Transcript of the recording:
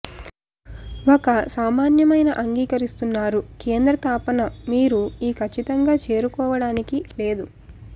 ఒక సామాన్యమైన అంగీకరిస్తున్నారు కేంద్ర తాపన మీరు ఈ ఖచ్చితంగా చేరుకోవడానికి లేదు